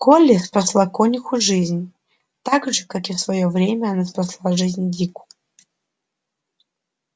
колли спасла конюху жизнь так же как и в своё время она спасла жизнь дику